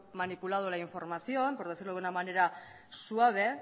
manipulado la información por decirlo de una manera suave